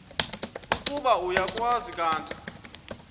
ukuba uyakwazi kanti